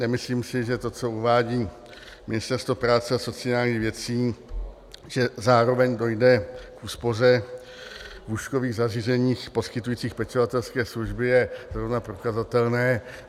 Nemyslím si, že to, co uvádí Ministerstvo práce a sociálních věcí, že zároveň dojde k úspoře v lůžkových zařízeních poskytujících pečovatelské služby, je zrovna prokazatelné.